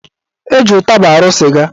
Eji ụtaba arụ sịga